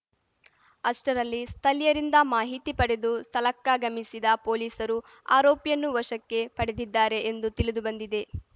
ಅಷ್ಟರಲ್ಲಿ ಸ್ಥಳೀಯರಿಂದ ಮಾಹಿತಿ ಪಡೆದು ಸ್ಥಳಕ್ಕಾಗಮಿಸಿದ ಪೊಲೀಸರು ಆರೋಪಿಯನ್ನು ವಶಕ್ಕೆ ಪಡೆದಿದ್ದಾರೆ ಎಂದು ತಿಳಿದು ಬಂದಿದೆ